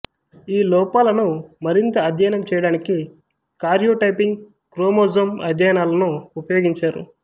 ఈ లోపాలను మరింత అధ్యయనం చేయడానికి కార్యోటైపింగ్ క్రోమోజోమ్ అధ్యయనాలను ఉపయోగించారు